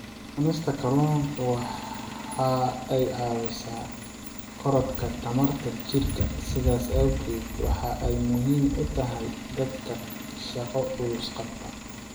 Cunista kalluunku waxa ay caawisaa korodhka tamarta jidhka, sidaas awgeed waxa ay muhiim u tahay dadka shaqo culus qabta.